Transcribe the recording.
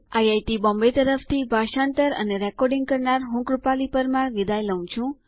IIT Bombay તરફથી ભાષાંતર કરનાર હું કૃપાલી પરમાર વિદાય લઉં છું